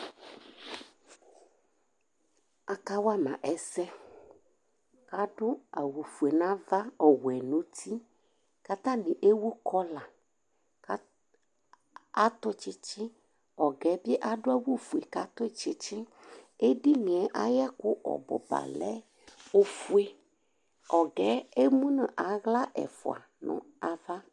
Akawama ɛsɛ, kʋ adʋ awʋfue nʋ ava, ɔwɛ nʋ uti Kʋ atani ewʋ kɔĺa, kʋ atʋ tsitsi, ɔga yɛbi adʋ awʋfue kʋ atʋ tsitsi, edinie ayʋ ekʋ ɔbʋbalɛ ofue, ɔgɛ emʋnʋ aɣla ɛfʋa nʋ ava